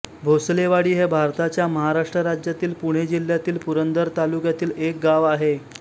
भोसलेवाडी हे भारताच्या महाराष्ट्र राज्यातील पुणे जिल्ह्यातील पुरंदर तालुक्यातील एक गाव आहे